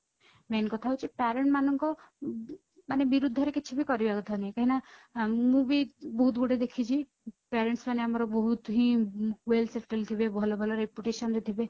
main କଥା ହଉଛି parent ମାନଙ୍କ ମାନେ ବିରୁଦ୍ଧରେ କିଛି ବି କରିବା କଥା ନୁହେଁ କାହିକି ନା ମୁଁ ବି ବହୁତ ଗୋଟେ ଦେଖିଛି parents ମାନେ ଆମର ବହୁତ ହିଁ well settle ଥିବେ ଭଲ ଭଲ reputation ରେ ଥିବେ